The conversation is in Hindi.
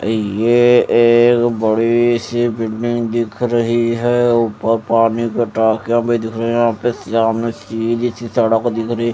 ये एक बड़ी सी बिल्डिंग दिख रही है ऊपर पानी दिख रहा है यहाँं पे सामने सीधी सी सड़क दिखरि --